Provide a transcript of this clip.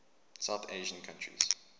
south asian countries